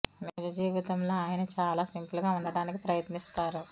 నిజ జీవితంలో ఆయన చాలా సింపుల్ గా ఉండడానికి ప్రయత్నిస్తారు